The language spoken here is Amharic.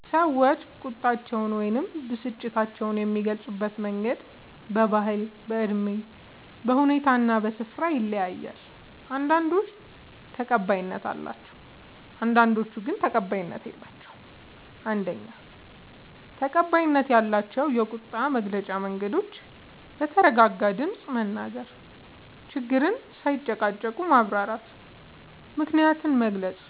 ሰዎች ቁጣቸውን ወይም ብስጭታቸውን የሚገልጹበት መንገድ በባህል፣ በእድሜ፣ በሁኔታ እና በስፍራ ይለያያል። አንዳንዶቹ ተቀባይነት አላቸው፣ አንዳንዶቹ ግን ተቀባይነት የላቸዉም። ፩. ተቀባይነት ያላቸው የቁጣ መግለጫ መንገዶች፦ በተረጋጋ ድምፅ መናገር፣ ችግርን ሳይጨቃጨቁ ማብራራት፣ ምክንያትን መግለጽ፣